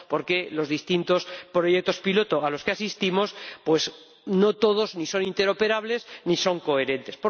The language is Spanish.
Porque los distintos proyectos piloto a los que asistimos no son todos ni interoperables ni son coherentes.